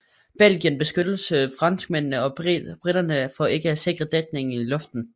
Belgierne beskyldte franskmændene og briterne for ikke at sikre dækning i luften